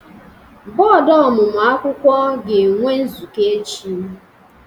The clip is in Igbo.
Bọọdụ ọmụmụ akwụkwọ ga-enwe nzukọ echi.